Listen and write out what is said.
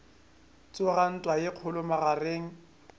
tsoga ntwa ye kgolo magareng